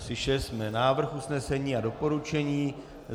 Slyšeli jsme návrh usnesení a doporučení.